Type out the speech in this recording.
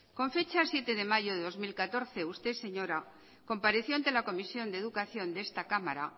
con fecha siete de mayo de dos mil catorce usted señora compareció ante la comisión de educación de esta cámara